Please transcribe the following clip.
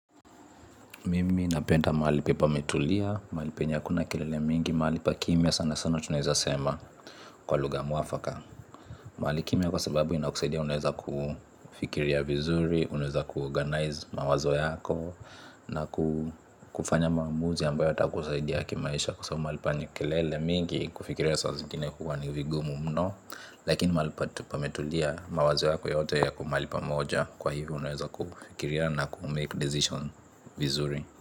Mimi napenda mahali ambapo pametulia, mahali penye hakuna kelele mingi, mahali pa kimya sana sana tunaweza sema kwa lugha mwafaka. Mahali kimya kwa sababu inakusaidia unaweza kufikiria vizuri, unaweza kuorganize mawazo yako na kufanya maamuzi ambayo yata kusaidia kimaisha. Kwa sababu mahali penye kelele mingi kufikiria saa zingine huwa ni vigumu mno, lakini mahali pametulia mawazo yako yote yako mahali pamoja kwa hivyo unaweza kufikiria na kumake decision vizuri.